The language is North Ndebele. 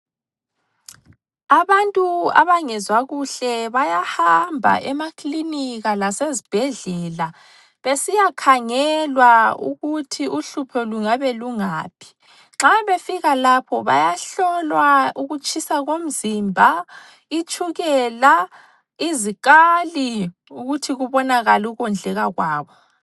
Abantu abangezwa kuhle bayahamba emakilinika lasezibhedlela besiyakhangelwa ukuthi uhlupho lungabe lungaphi. Nxa befika lapho bayahlolwa ukutshisa komzimba, itshukela, izikali ukuthi kubonakale ukondleka kwabo.